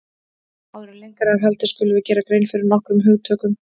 Áður en lengra er haldið skulum við gera grein fyrir nokkrum hugtökum.